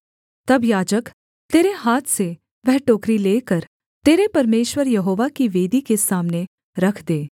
तब याजक तेरे हाथ से वह टोकरी लेकर तेरे परमेश्वर यहोवा की वेदी के सामने रख दे